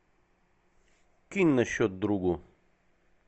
кинь на счет другу